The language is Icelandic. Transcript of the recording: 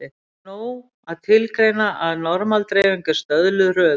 Hér er nóg að tilgreina að normal-dreifing er stöðluð röðun.